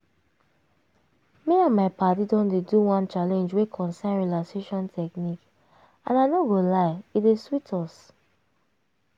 me and my padi don dey do one challenge wey concern relaxation technique and i no go lie e dey sweet us.